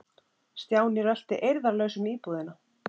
Stjáni rölti eirðarlaus um íbúðina.